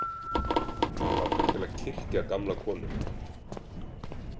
Mig langar til að kyrkja gamla konu.